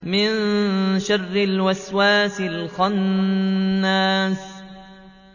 مِن شَرِّ الْوَسْوَاسِ الْخَنَّاسِ